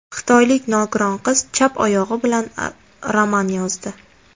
Xitoylik nogiron qiz chap oyog‘i bilan roman yozdi.